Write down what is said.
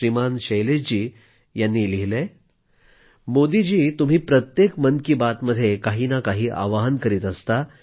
श्रीमान शैलेश जी यांनी लिहिलंय मोदीजी तुम्ही प्रत्येक मन की बात मध्ये काही ना काही आवाहन करीत असता